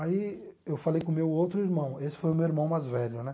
Aí eu falei com o meu outro irmão, esse foi o meu irmão mais velho, né?